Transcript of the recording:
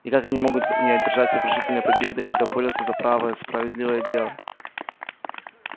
и как могут они не одержать сокрушительной победы когда борются за правое справедливое дело